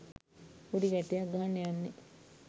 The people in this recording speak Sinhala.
පොඩි ගැටයක් ගහන්න යන්නේ